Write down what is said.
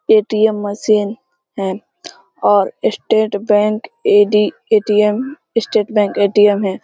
ATM. Machine है और State Bank AD. ATM. State Bank ATM. है।